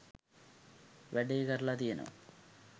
වැඩේ කරල තියනවා.